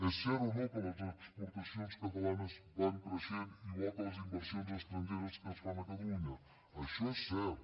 és cert o no que les exportacions catalanes van creixent igual que les inversions estrangeres que es fan a catalunya això és cert